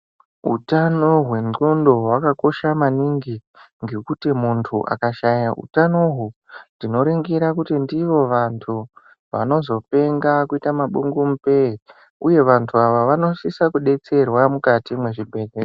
Utano hwendxondo hwakakosha maningi ngekuti muntu akashaya utano uhu tinoringira kuti ndivo vantu vanozopenga kuita mabungumupei uye vantu ava vanosisa kudetserwa mukati mwezvibhehleya.